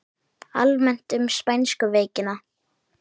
Almennt um spænsku veikina